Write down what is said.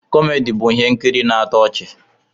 Kọmedi bụ ihe nkiri na-atọ ọchị.